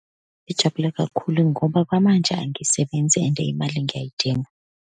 Ngijabula kakhulu, ngoba kwamanje angisebenzi and imali ngiyayidinga.